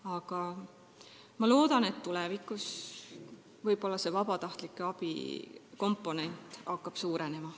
Aga ma loodan, et tulevikus hakkab vabatahtlike abi komponent suurenema.